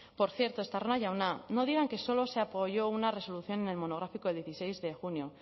por cierto estarrona jauna no digan que solo se apoyó una resolución en el monográfico del dieciséis de junio